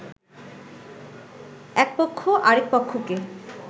একপক্ষ আরেকপক্ষকে